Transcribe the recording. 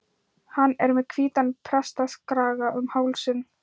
Hann er með hvítan prestakraga um hálsinn.